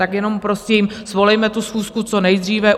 Tak jenom prosím, svolejme tu schůzku co nejdříve.